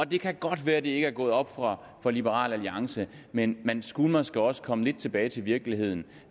det kan godt være det ikke er gået op for liberal alliance men man skulle måske også komme lidt tilbage til virkeligheden